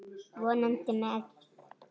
Vonandi með.